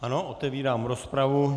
Ano, otevírám rozpravu.